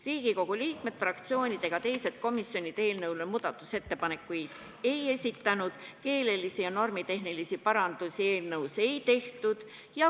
Riigikogu liikmed, fraktsioonid ega teised komisjonid eelnõu kohta muudatusettepanekuid ei esitanud, keelelisi ja normitehnilisi parandusi eelnõus ei tehtud.